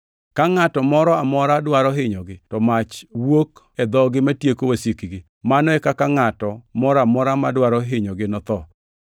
Ka ngʼato moro amora dwaro hinyogi, to mach wuok e dhogi matieko wasikgi. Mano e kaka ngʼato moro amora madwaro hinyogi notho.